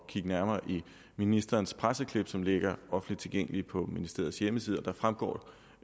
kigge nærmere i ministerens presseklip som ligger offentligt tilgængeligt på ministeriets hjemmeside og det fremgår